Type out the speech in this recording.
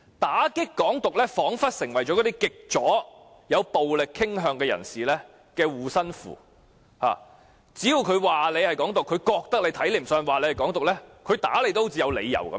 打擊"港獨"彷彿已成為極左及有暴力傾向人士的護身符，只要他們認為某人鼓吹"港獨"，令他們看不順眼，便有理由打人。